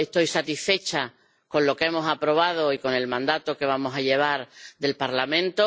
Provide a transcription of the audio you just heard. Estoy satisfecha con lo que hemos aprobado y con el mandato que vamos a llevar del Parlamento.